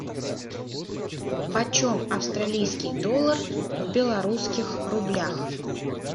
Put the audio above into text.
почем австралийский доллар в белорусских рублях